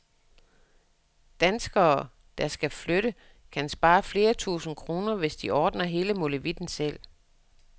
Danskere, der skal flytte, kan spare flere tusinde kroner, hvis de ordner hele molevitten selv.